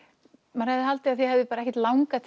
maður hefði haldið að þér hefði ekkert langað